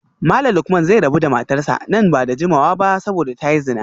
Malam Lukman zai rabu da matarsa ​​nan ba da jimawa ba saboda ta yi zina